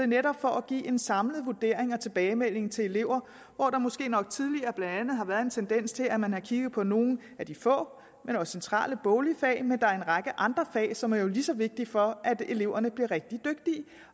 netop for at give en samlet vurdering af tilbagemeldingen til elever hvor der måske nok tidligere blandt andet har været en tendens til at man har kigget på nogle af de få men også centrale boglige fag men der er en række andre fag som jo er lige så vigtige for at eleverne bliver rigtig dygtige